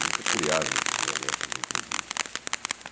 Nunca criarmos os momentos infelizes.